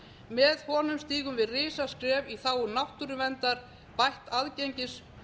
með honum stígum við risaskref í þágu náttúruverndar bætts aðgengis